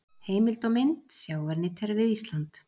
Heimild og mynd Sjávarnytjar við Ísland.